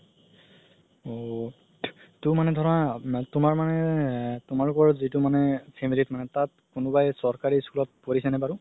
ঔ সেইটো ধৰা তুমাৰ মানে তুমাৰ ওপৰত যিতু মানে family মানে তাত কোনোবাই চৰকাৰি school ত পঢ়িছে নে বাৰু